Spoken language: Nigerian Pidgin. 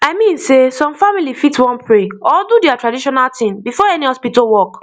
i mean sey some family fit wan pray or do their traditional thing before any hospital work